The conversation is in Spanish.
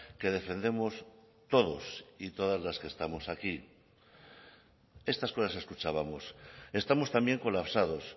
que defendemos todos y todas las que estamos aquí estas cosas escuchábamos estamos también colapsados